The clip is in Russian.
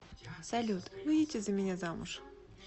салют выйдите за меня замуж